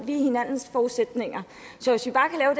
de er hinandens forudsætninger så hvis vi bare